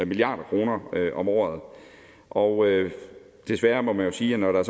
milliard kroner om året og desværre må man sige at når der